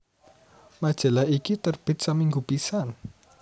Majalah iki terbit saminggu pisan